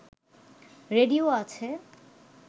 radio আছে